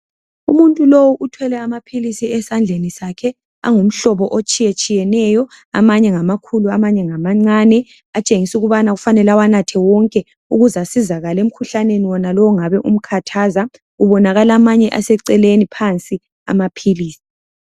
umuntu lowu uthwele amaphilisi esandleni sakhe angumhlobo otshiyetshiyeneyo amanye ngamakhulu amanye ngamancane atshengisa ukubana kufanele awanathe wonke ukuze asizakale emhkhuhlaneni wonalowu ongabe umkhathaza kubonakala amanye aseceleni phansi amaphilisi